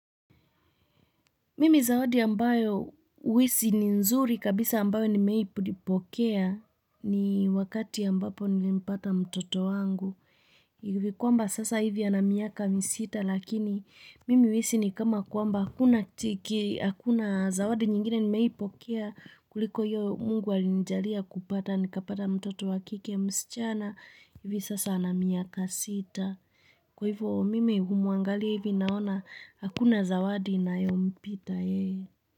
Mimi zawadi ambayo huisi ni nzuri kabisa ambayo nimewai kuipokea ni wakati ambapo nilimpata mtoto wangu. Ivi kwamba sasa hivi ana miaka misita lakini mimi huisi ni kama kwamba hakuna zawadi nyingine nimewaipokea kuliko hiyo mungu alinjalia kupata. Nikapata mtoto wakike msichana hivi sasa ana miaka sita. Kwa hivyo mimi humuangalia hivi naona hakuna zawadi inayompita yeye.